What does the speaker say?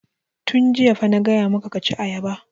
Tun jiya fa na gaya maka ka ci ayaba!